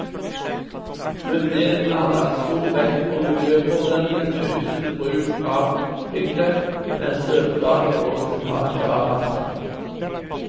Myndighetene har lagt stor vekt på miljøproblemene knyttet til bruk av piggdekk, med støvplager og slitasje av asfalten.